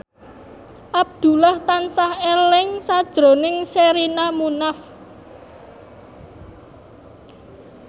Abdullah tansah eling sakjroning Sherina Munaf